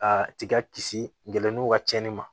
A tiga kisi nɛw ka cɛnni ma